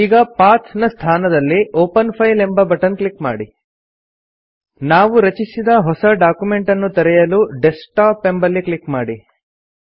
ಈಗ ಪಥ್ ನ ಸ್ಥಾನದಲ್ಲಿ ಒಪೆನ್ ಫೈಲ್ ಎಂಬ ಬಟನ್ ಕ್ಲಿಕ್ ಮಾಡಿ ನಾವು ರಚಿಸಿದ ಹೊಸ ಡಾಕ್ಯುಮೆಂಟ್ ಅನ್ನು ತೆರೆಯಲು ಡೆಸ್ಕ್ಟಾಪ್ ಎಂಬಲ್ಲಿ ಕ್ಲಿಕ್ ಮಾಡಿ